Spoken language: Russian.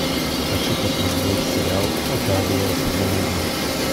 хочу посмотреть сериал отари сезон один